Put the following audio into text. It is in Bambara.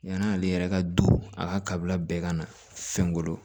Yann'ale yɛrɛ ka du a kabila bɛɛ ka na fɛnkolo